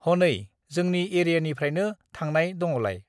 हनै जोंनि एरियानिफ्रायनो थांनाय दङलाय।